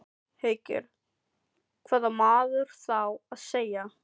Haukur: Hvað á maður þá að segja?